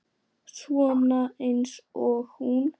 Svona eins og hún?